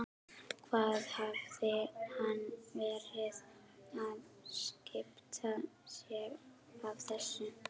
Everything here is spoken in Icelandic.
Hvað hafði hann verið að skipta sér af þessu?